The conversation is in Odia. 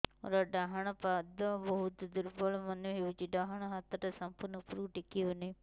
ମୋର ଡାହାଣ ପାଖ ବହୁତ ଦୁର୍ବଳ ମନେ ହେଉଛି ଡାହାଣ ହାତଟା ସମ୍ପୂର୍ଣ ଉପରକୁ ଟେକି ହେଉନାହିଁ